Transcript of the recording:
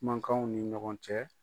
Kumakanw ni ɲɔgɔn cɛ.